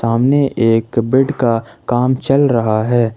अमने एक बेड का काम चल रहा है।